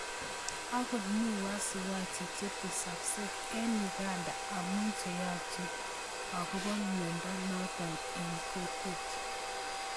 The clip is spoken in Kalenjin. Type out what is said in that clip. Angot mi wasiwasi chetesakse eng Uganda amu cheyachen akobo miondo noto eng kokwet.